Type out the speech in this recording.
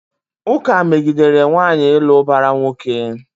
Ụka megidere nwaanyị ịlụ ụbara nwoke.